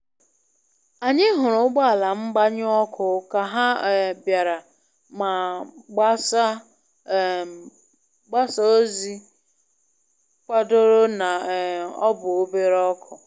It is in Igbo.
Anyị hụrụ ụgbọ ala mgbanyụ ọkụ ka ha um bịara, ma mgbasa um ozi kwadoro na um ọ bụ obere ọkụ.